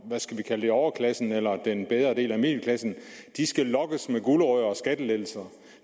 skal vi kalde det overklassen eller den bedre del af middelklassen skal lokkes med gulerod og skattelettelser